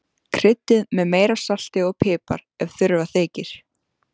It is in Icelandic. Kryddið með meira salti og pipar ef þurfa þykir.